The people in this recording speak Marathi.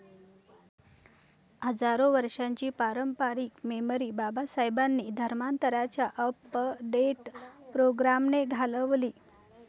हजारो वर्षाची पारंपरिक मेमरी बाबासाहेबांनी धर्मांतराच्या अपडेट प्रोग्रामने घालवली.